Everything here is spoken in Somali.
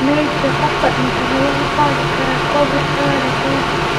Meydka qofka dhintay ma lagu qaadi karaa Covid-19?